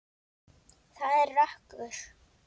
Það er rökkur.